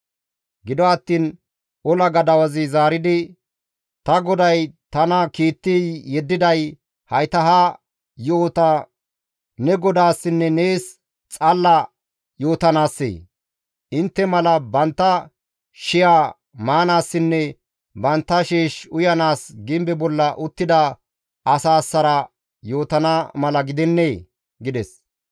Gido attiin ola gadawazi zaaridi, «Ta goday tana kiitti yeddiday hayta ha yo7ota ne godaassinne nees xalla yootanaassee? Intte mala bantta shiya maanaassinne bantta sheesh uyanaas gimbe bolla uttida asaassara yootana mala gidennee?» gides.